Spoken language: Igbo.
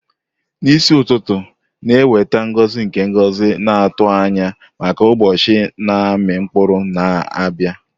N'isi ụtụtụ na-eweta ngozi nke ngozi na-atụ anya maka ụbọchị na-amị mkpụrụ na-abịa.